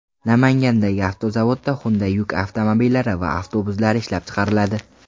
Namangandagi avtozavodda Hyundai yuk avtomobillari va avtobuslari ishlab chiqariladi.